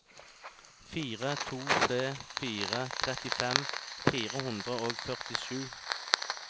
fire to tre fire trettifem fire hundre og førtisju